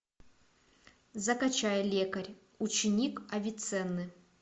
закачай лекарь ученик авиценны